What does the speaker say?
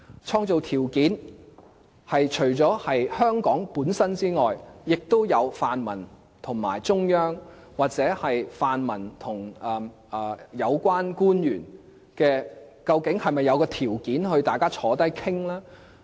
創造條件是除了香港本身之外，亦涉及泛民和中央，又或泛民和有關官員，究竟是否有條件大家坐下來討論呢？